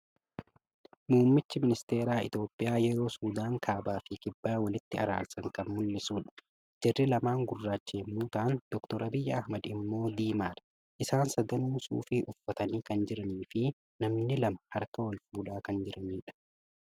Muummichi ministeeraa itoophiyaa yeroo Sudaan kaabaa fi kibbaa walitti araarsan kan mul'isudha. Jarri lamaan gugurraacha yommuu ta'an Dr. Abiyyi Ahimad immoo diimaadha. Isaan sadanuu suufii uffatanii kan jiranii fi namni lama harka walfuudhaa kan jiranidha.